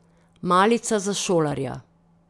Malica za šolarja.